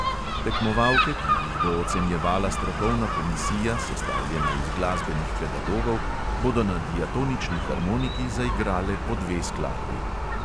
Tekmovalke, ki jih bo ocenjevala strokovna komisija, sestavljena iz glasbenih pedagogov, bodo na diatonični harmoniki zaigrale po dve skladbi.